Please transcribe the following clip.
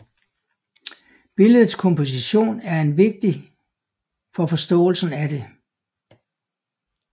Billedets komposition er vigtig for forståelsen af det